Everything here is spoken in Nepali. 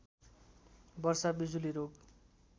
वर्षा बिजुली रोग